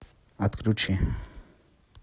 отключи